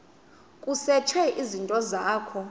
kusetshwe izinto zakho